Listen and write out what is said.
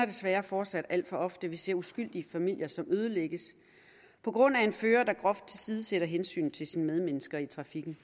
desværre fortsat alt for ofte at vi ser uskyldige familier der ødelægges på grund af en fører der groft tilsidesætter hensynet til sine medmennesker i trafikken